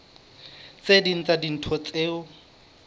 tse ding tsa dintho tseo